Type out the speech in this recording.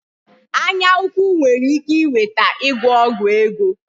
Anya ukwu nwere ike iweta ịgwọ ọgwụ ego